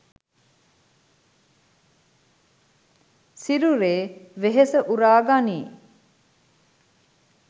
සිරුරේ වෙහෙස උරා ගනියි.